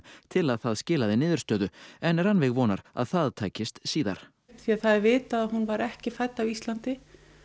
til að það skilaði niðurstöðu en Rannveig vonar að það takist síðar því að það er vitað að hún var ekki fædd á Íslandi